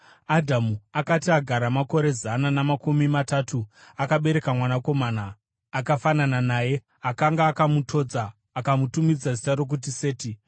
Adhamu akati agara makore zana namakumi matatu, akabereka mwanakomana akafanana naye, akanga akamutodza; akamutumidza zita rokuti Seti.